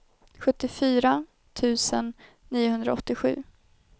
sjuttiofyra tusen niohundraåttiosju